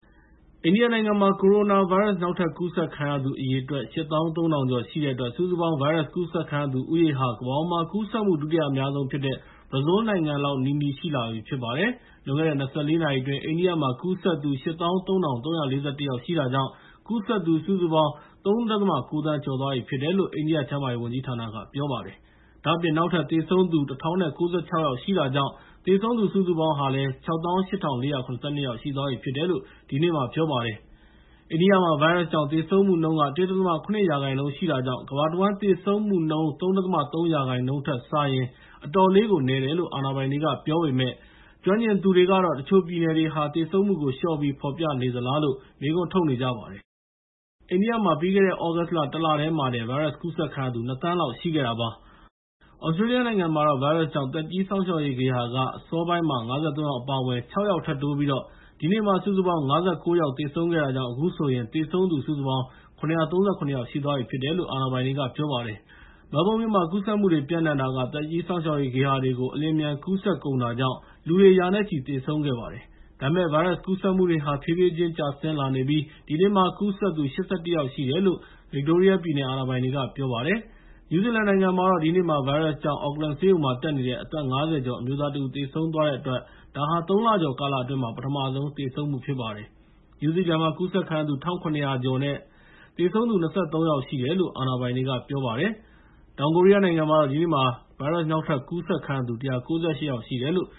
အိန္ဒိယနိုင်ငံမှာ ကိုရိုနာဗိုင်းရပ်စ် နောက်ထပ်ကူးစက်ခံရသူအရေအတွက် ၈၃,၀၀၀ ကျော်ရှိတဲ့အတွက် စုစုပေါင်း ဗိုင်းရပ်စ်ကူးစက်ခံရသူဦးရေဟာ ကမ္ဘာပေါ်မှာ ကူးစက်မှု ဒုတိယအများဆုံးဖြစ်တဲ့ ဘရာဇီးလ်နိုင်ငံလောက်နီးနီး ရှိလာပြီဖြစ်ပါတယ်။ လွန်ခဲ့တဲ့ ၂၄ နာရီအတွင်း အိန္ဒိယမှာ ကူးစက်ခံရသူ ၈၃,၃၄၁ ရှိတာကြောင့် စုစုပေါင်း ကူးစက်သူ ၃.၉ သန်းကျော်သွားပြီဖြစ်တယ်လို့ အိန္ဒိယကျန်းမာရေးဝန်ကြီးဌာနက ပြောပါတယ်။ ဒါ့အပြင် နောက်ထပ် သေဆုံးသူ ၁,၀၉၆ ဦး ရှိတာကြောင့် သေဆုံးသူ စုစုပေါင်း ၆၈,၄၇၂ ယောက်ရှိသွားပြီလို့ ဒီနေ့မှာ ပြောပါတယ်။ အိန္ဒိယမှာ ဗိုင်းရပ်စ်ကြောင့် သေဆုံးမှုနှုန်းက ၁.၇ ရာခိုင်နှုန်း ရှိတာကြောင့်၊ ကမ္ဘာတဝန်းသေဆုံးမှုနှုန်း ၃.၃ ရာခိုင်နှုန်းနဲ့စာရင် အတော်လေးကို နည်းတယ်လို့ အာဏာပိုင်တွေကပြောပေမဲ့ ကျွမ်းကျင်သူတွေကတော့ တချို့ပြည်နယ်တွေဟာ သေဆုံးမှုကို လျှော့ပြီး ဖော်ပြနေသလားလို့ မေးခွန်းထုတ်နေကြပါတယ်။ အိန္ဒိယမှာ ပြီးခဲ့တဲ့ သြဂုတ်လ ၁ လတည်းမှာတင် ဗိုင်းရပ်စ်ကူးစက်ခံရသူ ၂,၀၀၀,၀၀၀ လောက်ရှိခဲ့တာပါ။ သြစတြေးလျနိုင်ငံမှာတော့ ဗိုင်းရပ်စ်ကြောင့် သက်ကြီးစောင့်ရှောက်ရေးဂေဟာက အစောပိုင်း ၅၃ ယောက် အပါအဝင် ၆ ယောက်ထပ်တိုးပြီး ဒီနေ့မှာ စုစုပေါင်း ၅၉ ယောက်သေဆုံးတာကြောင့် အခုဆိုရင် သေဆုံးသူ စုစုပေါင်း ၇၃၇ ယောက်ရှိသွားပြီလို့ အာဏာပိုင်တွေက ပြောပါတယ်။ မဲလ်ဘုန်းမြို့မှာ ကူးစက်မှုတွေ ပျံ့နှံ့တာက သက်ကြီးစောင့်ရှောက်ရေးဂေဟာတွေကို အလျင်အမြန်ကူးစက်ကုန်တာကြောင့် လူတွေ ရာနဲ့ချီ သေဆုံးခဲ့ပါတယ်။ ဒါပေမဲ့ ဗိုင်းရပ်စ်ကူးစက်မှုတွေဟာ ဖြည်းဖြည်းချင်း ကျဆင်းလာနေပြီး ဒီနေ့မှာ ကူးစက်သူ ၈၁ ယောက် ရှိတယ်လို့ ဗစ်တိုးရီးယားပြည်နယ် အာဏာပိုင်တွေက ပြောပါတယ်။ နယူးဇီလန်နိုင်ငံမှာတော့ ဒီနေ့မှာ ဗိုင်းရပ်စ်ကြောင့် Auckland ဆေးရုံမှာ တက်နေတဲ့ အသက် ၅၀ ကျော် အမျိုးသားတဦး သေဆုံးသွားတဲ့အတွက် ဒါဟာ ၃ လကျော်ကာလအတွင်း ပထမဆုံး သေဆုံးမှုဖြစ်ပါတယ်။ နယူးဇီလန်မှာ ကူးစက်ခံရသူ ၁,၇၀၀ ကျော် နဲ့ သေဆုံးသူ ၂၃ ယောက်ရှိတယ်လို့ အာဏာပိုင်တွေက ပြောပါတယ်။ တောင်ကိုရီးယားနိုင်ငံမှာတော့ ဒီနေ့မှာ ဗိုင်းရပ်စ်နောက်ထပ်ကူးစက်ခံရသူ ၁၉၈ ယောက်ရှိတယ်လို့